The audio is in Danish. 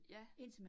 Ja